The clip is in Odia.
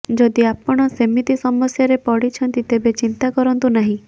ଯଦି ଆପଣ ସେମିତି ସମସ୍ୟାରେ ପଡ଼ିଛନ୍ତି ତେବେ ଚିନ୍ତା କରନ୍ତୁ ନାହିଁ